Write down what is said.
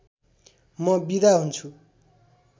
म बिदा हुन्छु